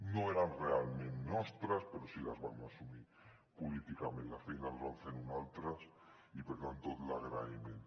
no eren realment nostres però sí que les vam assumir políticament la feina la van fer uns altres i per tant tot l’agraïment